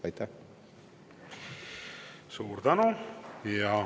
Suur tänu!